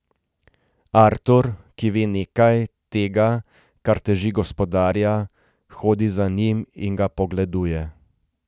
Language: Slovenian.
Artur, ki ve nekaj tega, kar teži gospodarja, hodi za njim in ga pogleduje.